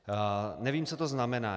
Nevím, co to znamená.